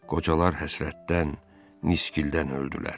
Qocalar həsrətdən, niskildən öldülər.